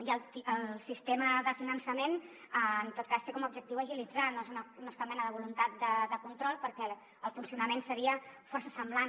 i el sistema de finançament en tot cas té com a objectiu agilitzar no és cap mena de voluntat de control perquè el funcionament seria força semblant